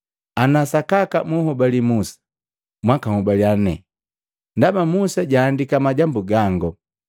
Ana sakaka munhobali Musa, mwakahobaliya nane, Ndaba Musa jaandika majambu gango.